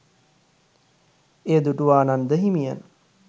එය දුටු ආනන්ද හිමියන්